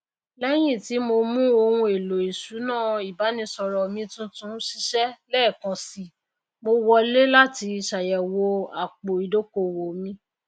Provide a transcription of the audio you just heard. lẹyìn tí mo mu ohunèlò ìṣúná ìbánisọrọ mi tuntun ṣiṣẹ lẹẹkan sí mo wọlé láti ṣàyẹwò àpò ìdókòwò mi